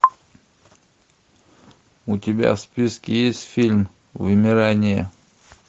у тебя в списке есть фильм вымирание